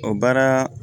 O baara